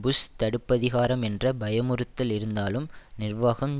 push தடுப்பதிகாரம் என்ற பயமுறுத்தல் இருந்தாலும் நிர்வாகம்